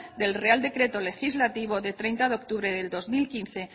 del real decreto legislativo del treinta de octubre de dos mil quince